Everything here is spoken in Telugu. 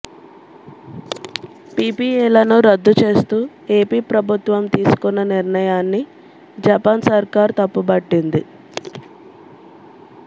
పీపీఏలను రద్దు చేస్తూ ఏపీ ప్రభుత్వం తీసుకొన్న నిర్ణయాన్ని జపాన్ సర్కార్ తప్పుబట్టింది